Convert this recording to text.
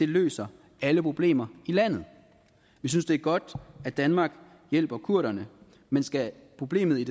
løser alle problemer i landet jeg synes det er godt at danmark hjælper kurderne men skal problemet i